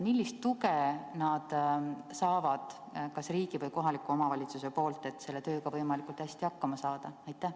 Millist tuge nad saavad kas riigilt või kohalikult omavalitsuselt, et selle tööga võimalikult hästi hakkama saada?